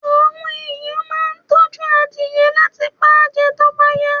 Àwọn ẹ̀yàn máa ń tọ́jú adìẹ láti pa jẹ tó bá yá.